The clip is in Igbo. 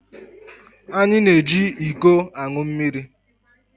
Anyi na-eji iko aṅụ mmiri